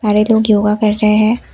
सारे लोग योगा कर रहे हैं।